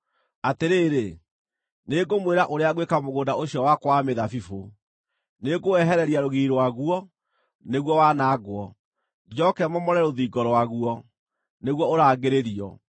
Atĩrĩrĩ, nĩngũmwĩra ũrĩa ngwĩka mũgũnda ũcio wakwa wa mĩthabibũ: Nĩngũwehereria rũgiri rwaguo, nĩguo wanangwo, njooke momore rũthingo rwaguo, nĩguo ũrangĩrĩrio.